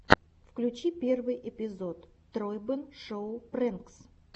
включи первый эпизод тройбэн шоу прэнкс